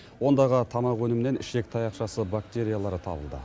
ондағы тамақ өнімінен ішек таяқшасы бактериялары табылды